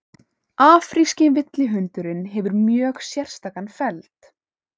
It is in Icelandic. afríski villihundurinn hefur mjög sérstakan feld